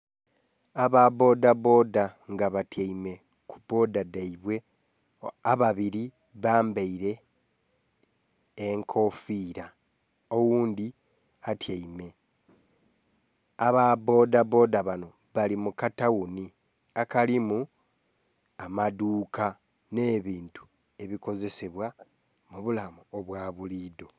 Aba bboda bboda nga batyaime kubboda dhaibwe ababiri bambaire enkofira oghundhi atyaime. Aba bboda bboda bano bali mukataghuni akalimu amadhuuka n'ebintu ebikozesebwa mubulamu obwabulidho.